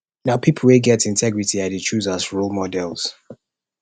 na pipo wey get integrity i dey choose as role models